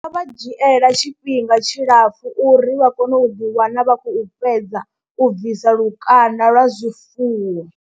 Zwi nga vha dzhiela tshifhinga tshilapfhu uri vha kone u ḓiwana vha khou fhedza u bvisa lukanda lwa zwifuwo.